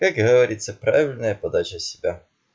как говорится правильная подача себя